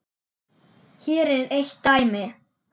Hér er eitt dæmi.